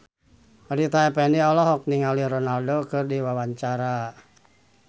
Rita Effendy olohok ningali Ronaldo keur diwawancara